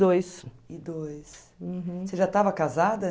dois... e dois... Você já estava casada?